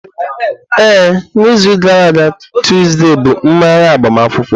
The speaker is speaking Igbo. Ee, n'izu gara aga tuzdee bụ mmeghari agbamakwụkwọ.